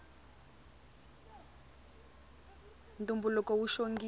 ntumbuluko wu xongile